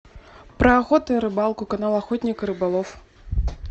про охоту и рыбалку канал охотник и рыболов